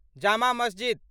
जमा मस्जिद